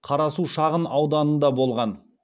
қарасу шағын ауданында болған